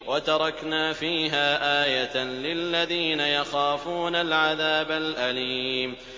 وَتَرَكْنَا فِيهَا آيَةً لِّلَّذِينَ يَخَافُونَ الْعَذَابَ الْأَلِيمَ